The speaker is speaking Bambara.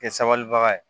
Kɛ sabalibaga ye